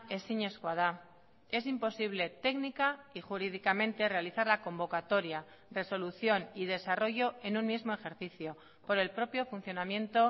ezinezkoa da es imposible técnica y jurídicamente realizar la convocatoria resolución y desarrollo en un mismo ejercicio por el propio funcionamiento